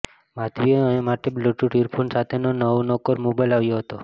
માધવી માટે bluetooth earphone સાથેનો નવોનકોર મોબાઈલ આવ્યો હતો